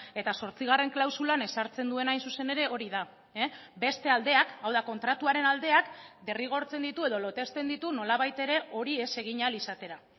eta zortzigarren klausulan ezartzen duena hain zuzen ere hori da beste aldeak hau da kontratuaren aldeak derrigortzen ditu edo lotesten ditu nolabait ere hori ez egin ahal izatera